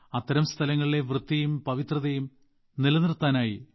അത്തരം ശുചിത്വം ഒരു പവിത്രമായ അന്തരീക്ഷം ഇവ നമ്മൾ ഒരിക്കലും മറക്കരുത്